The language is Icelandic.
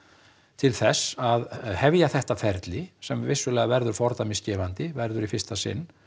til þess að hefja þetta ferli sem vissulega verður fordæmisgefandi verður í fyrsta sinn